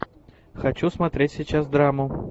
хочу смотреть сейчас драму